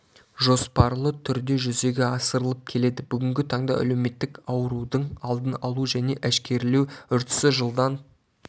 жоспарлы түрде жүзеге асырылып келеді бүгінгі таңда әлеуметтік аурудың алдын алу және әшкерелеу үрдісі жылдан